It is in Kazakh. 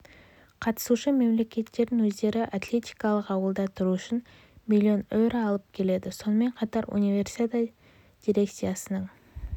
қатысушы мемлекеттердің өздері атлетикалық ауылда тұру үшін миллион еуро алып келеді сонымен қатар универсиада дирекциясының